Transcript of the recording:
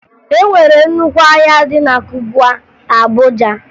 E nwere nnukwu ahịa dị na Kubwa, Abuja